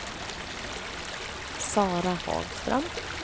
Sara Hagström